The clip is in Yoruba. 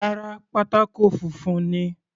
Rárá, pátákó funfun ni.